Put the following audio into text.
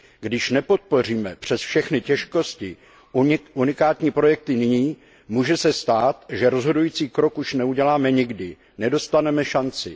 Když nepodpoříme přes všechny těžkosti unikátní projekty nyní, může se stát, že rozhodující krok už neuděláme nikdy, nedostaneme šanci.